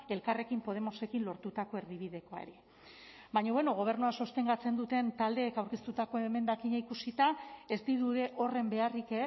elkarrekin podemosekin lortutako erdibidekoa ere baina bueno gobernua sostengatzen duten taldeek aurkeztutako emendakina ikusita ez dirudi horren beharrik